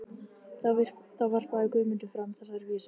Þá varpaði Guðmundur fram þessari vísu